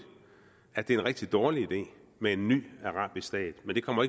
at det er en rigtig dårlig idé med en ny arabisk stat men det kommer